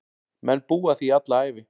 Menn búa að því alla ævi.